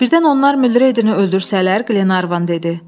Birdən onlar Mülredini öldürsələr, Glevan dedi.